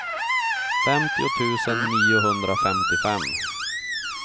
femtio tusen niohundrafemtiofem